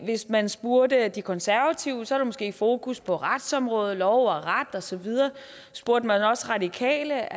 hvis man spurgte de konservative var der måske fokus på retsområdet lov og ret og så videre spurgte man os radikale